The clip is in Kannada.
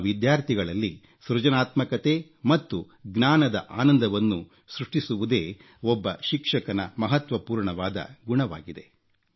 ತಮ್ಮ ವಿದ್ಯಾರ್ಥಿಗಳಲ್ಲಿ ಸೃಜನಾತ್ಮಕತೆ ಮತ್ತು ಜ್ಞಾನದ ಆನಂದವನ್ನು ಸೃಷ್ಟಿಸುವುದೇ ಒಬ್ಬ ಶಿಕ್ಷಕನ ಮಹತ್ವಪೂರ್ಣವಾದ ಗುಣವಾಗಿದೆ